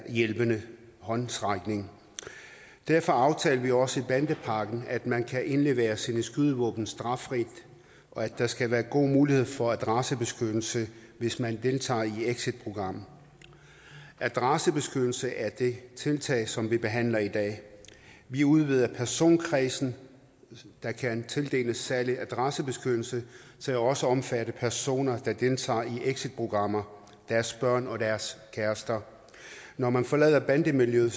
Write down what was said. hjælpende håndsrækning derfor aftalte vi også med bandepakken at man kan indlevere sine skydevåben straffrit og at der skal være god mulighed for adressebeskyttelse hvis man deltager i et exitprogram adressebeskyttelse er det tiltag som vi behandler i dag vi udvider personkredsen der kan tildeles særlig adressebeskyttelse til også at omfatte personer der deltager i exitprogrammer deres børn og deres kærester når man forlader bandemiljøet